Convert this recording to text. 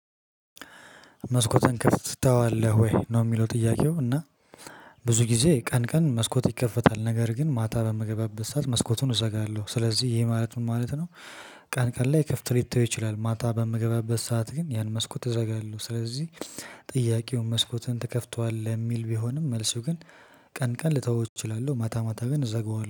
መስኮትህን ትከፍተዋለህ ወይ? ነው የሚለው ጥያቄው። እና ብዙ ጊዜ ቀን ቀን መስኮት ይከፈታል። ነገር ግን ማታ በምገባበት ሰዓት መስኮቱን እዘጋለሁ ስለዚህ ይሄ ማለት ምን ማለት ነው። ቀን ቀን ላይ ክፍት ሊተው ይችላል። ማታ በምገባበት ሰዓት ግን ያን መስኮት እዘጋለሁ። ስለዚህ ጥያቄውን መስኮትህን ትከፍተዋለህ? የሚል ቢሆንም መልሱ ግን ቀን ቀን ልተወው እችላለሁ። ማታ ማታ ግን እዘገዋለሁ።